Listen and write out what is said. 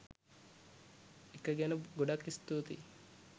එක ගැන ගොඩක් ස්තූතියි.